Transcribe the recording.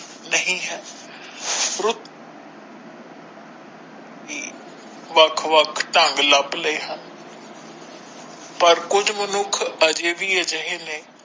ਨਹੀਂ ਹੈ ਰੁੱਤ ਵੱਖ ਵੱਖ ਢੰਗ ਲੱਭ ਲਾਏ ਹਨ ਪਰ ਕੁਝ ਮਨੁੱਖ ਅਜਿਹਾ ਵੀ ਅਜਿਹੇ ਨੇ।